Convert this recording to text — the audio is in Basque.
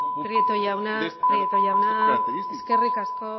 prieto jauna prieto jauna eskerrik asko